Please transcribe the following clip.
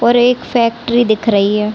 और एक फैक्ट्री दिख रही है।